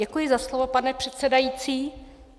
Děkuji za slovo, pane předsedající.